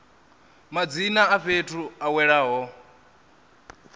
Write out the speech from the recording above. madzina a fhethu a welaho